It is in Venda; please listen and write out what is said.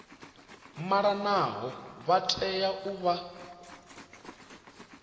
malanaho vha tea u vha